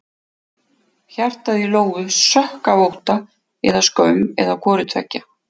Hjartað í Lóu sökk af ótta eða skömm eða hvoru tveggja.